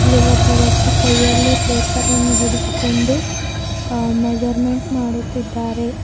ಇಲ್ಲಿ ಒಬ್ಬ ವ್ಯಕ್ತಿ ಕೈಯಲ್ಲಿ ಪೇಪರ್ ಅನ್ನು ಹಿಡಿದುಕೊಂಡು ಅ ಮೇಜರಮೆಂಟ್ ಮಾಡುತ್ತಿದ್ದಾರೆ.